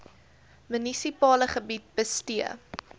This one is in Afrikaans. munisipale gebied bestee